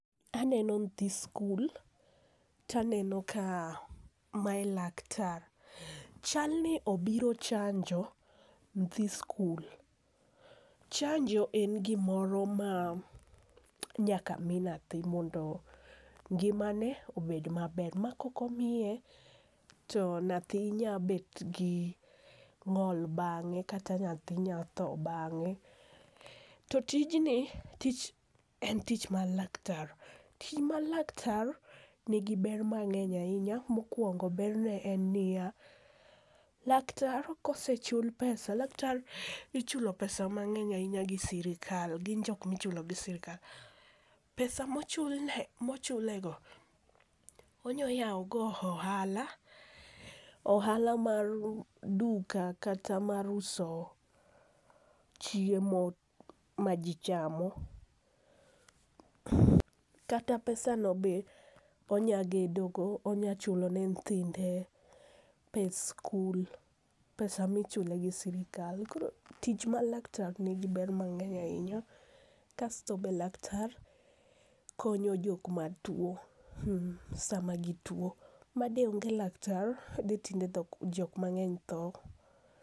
Aneno nyithi skul to aneno ka mae laktar, chalni obiro chanjo nyithi skul, chanjo en gimoro ma nyaka omi nyathi mondo ngimane obed maber ma kokomiye to nyathi nyalo bet gi ng'ol bang'e, kata nyathi nyalo tho bang'e, to tijni en tich mar laktar, tich mar laktar nigi ber mang'eny ahinya, mokuongo berne en ni ya laktar kosechul pesa, laktar ichulo pesa mang'eny ahinya gi sirikal gin jok ma ichulo gi sirikal, pesa mochulego onya yawogo ohala, ohala mar duka kata mar uso chiemo majichamo kata pesano be onyalo gedogo onyalo chulone nyithinde pes skul pesa michule gi sirikal koro tich ma laktar nigi ber mang'eny ahinya. Kasto to be laktar konyo jokmatuo samagutuo ma de ong'e laktar tinde ji mang'eny tho.